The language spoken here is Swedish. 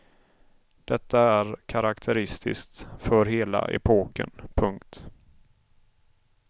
Detta är karakteristiskt för hela epoken. punkt